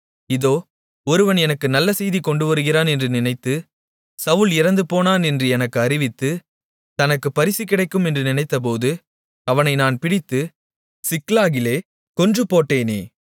இதோ ஒருவன் எனக்கு நல்ல செய்தி கொண்டுவருகிறவன் என்று நினைத்து சவுல் இறந்துபோனான் என்று எனக்கு அறிவித்து தனக்கு பரிசு கிடைக்கும் என்று நினைத்தபோது அவனை நான் பிடித்து சிக்லாகிலே கொன்றுபோட்டேனே